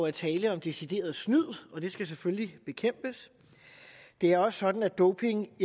er tale om decideret snyd og det skal selvfølgelig bekæmpes det er også sådan at doping